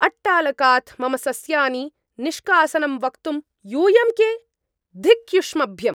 अट्टालकात् मम सस्यानि निष्कासनं वक्तुं यूयं के? धिक् युष्मभ्यम्।